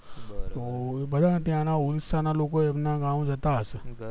ભલે ને ત્યાં ના ઉડીસા ના લોકો એમના ગાવ જતા હયશે